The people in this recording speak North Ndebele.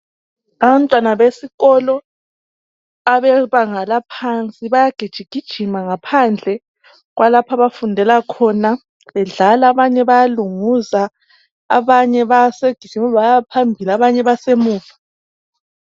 Abantwana besikolo abebanga laphansi bayagijigijima ngaphandle kwalapha abafundela khona bedlala, abanye bayalunguza ,abanye basebegijime bayaphambili abanye basemuva.